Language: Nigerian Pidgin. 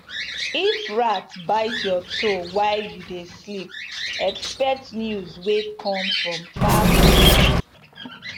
if rat bite your toe while you dey sleep expect news wey come from far place